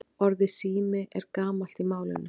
Orðið sími er gamalt í málinu.